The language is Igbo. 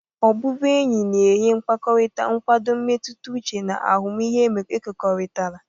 Ọbụbụ enyi na-enye mkpakọrịta, nkwado mmetụta uche, na ahụmịhe ekekọrịtara.